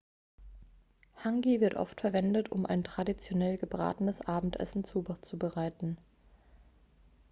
hangi wird oft verwendet um ein traditionell gebratenenes abendessen zuzubereiten